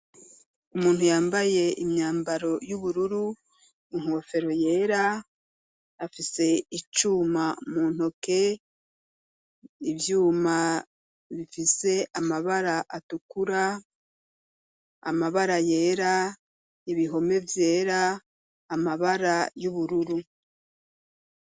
Umuntu yambaye imyambaro y'ubururu unkofero yera afise icuma muntoke ivyuma bifise amabara atukura amabara yera ibihome vyera amabara y'ubururu.